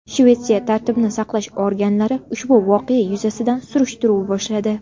Shvetsiya tartibni saqlash organlari ushbu voqea yuzasidan surishtiruv boshladi.